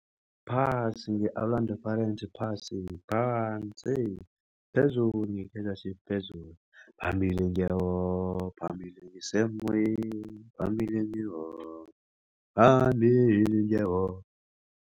Phasi nge-Orlando Pirates phasi, phansi. Phezulu nge-Kaizer Chiefs phezulu. Phambili nge-war, phambili ngesemoyeni, phambili nge-war. Phambili nge-war.